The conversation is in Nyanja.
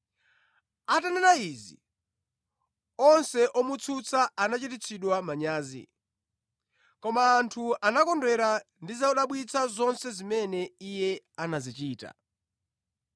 Atanena izi, onse omutsutsa anachititsidwa manyazi, koma anthu anakondwera ndi zodabwitsa zonse zimene Iye anazichita.